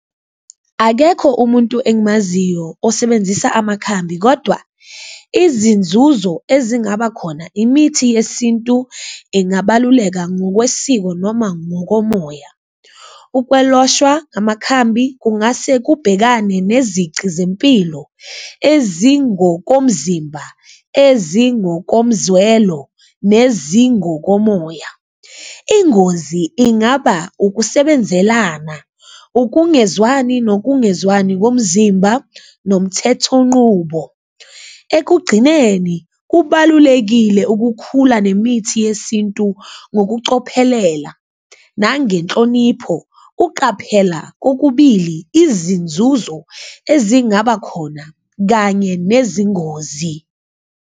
Akekho umuntu engimaziyo osebenzisa amakhambi kodwa izinzuzo ezingaba khona imithi yesintu ingabaluleka ngokwesiko noma ngokomoya, ukweloshwa ngamakhambi kungase kubhekane nezici zempilo ezingokomzimba, ezingokomzwelo nezingokomoya. Ingozi ingaba ukusebenzelana, ukungezwani nokungezwani komzimba nomthethonqubo ekugcineni kubalulekile ukukhula nemithi yesintu ngokucophelela nangenhlonipho, uqaphela kokubili izinzuzo ezingaba khona kanye nezingozi.